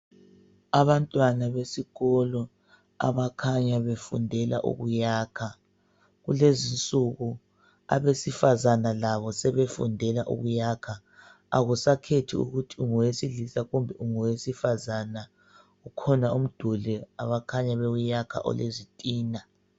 Abantwana besikolo abakhanya befundela ukuyakha, kulezi insuku abesifazana labo sebefundela ukuyakha akusakhethi ukuthi ungowesilisa kumbe ungowesifazana, kukhona umduli abakhanya bewuyakha olezitina.